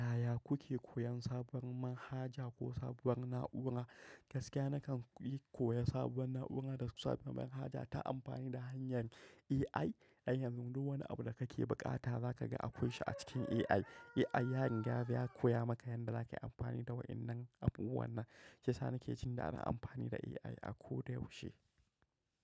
Yaya kuke koyan sabon manhaja ko sabuwar na'ura? Gaskiya nakan yi koya sabuwa na'ura da kuma sabuwar manhaja ta amfani da hanyar AI. I yanzu duk wani abu da kake buƙata za ka ga akwai shi a cikin AI. AI ya riga ya koya maka yadda za ka yi amfani da waɗannan abubuwan nan. Shiyasa nake jin daɗin amfani da AI a ko da yaushe.